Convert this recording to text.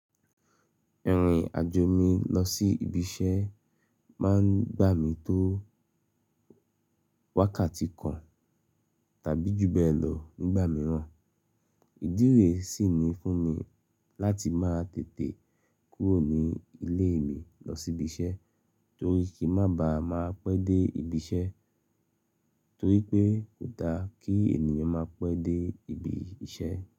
Ẹ̀rìn-àjò mi lọ sí ibi iṣẹ́ máa ń gbà mí tó wákàtí kan tàbí ju bẹ́ẹ̀ lọ nígbà mìíràn. Ìdí re sì ní fún mi láti máa tètè kúrò ní ilé mi lọ sí ibi iṣẹ́ torí kí má ba à máa pẹ́ dé ibi iṣẹ́ torí pé kò da kí ènìyàn máa pẹ́ dé ibi iṣẹ́.